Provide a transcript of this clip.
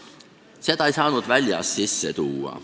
Seda ei saanud väljast sisse tuua.